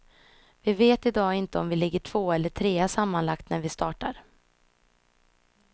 Vi vet i dag inte om vi ligger tvåa eller trea sammanlagt när vi startar.